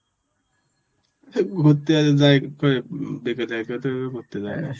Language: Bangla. ঘুরতে আর যাই ঘুরতে যায়.